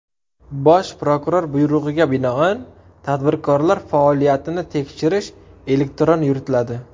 Bosh prokuror buyrug‘iga binoan tadbirkorlar faoliyatini tekshirish elektron yuritiladi.